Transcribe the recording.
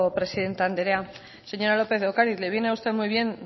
presidente andrea señora lópez de ocariz le viene a usted muy bien